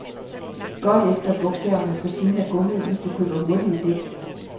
Kig godt efter bogstaverne på siden af gummiet, hvis du køber hurtige dæk.